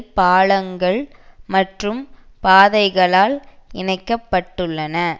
பாலங்கள் மற்றும் பாதைகளால் இணைக்க பட்டுள்ளன